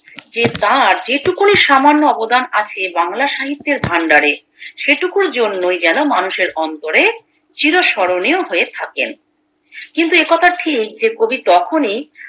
যে তার যেটুকুনি সামান্য অবদান আছে বাংলা সাহিত্যের ভাণ্ডারে সেটুকুর জন্যেই যেন মানুষের অন্তরে চির স্মরণীয় হয়ে থাকেন কিন্তু একথা ঠিক যে কবি তখনি